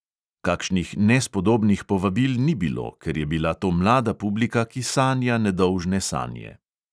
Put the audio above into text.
Kakšnih nespodobnih povabil ni bilo, ker je bila to mlada publika, ki sanja nedolžne sanje.